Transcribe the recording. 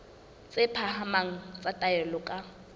tse phahameng tsa taolo ka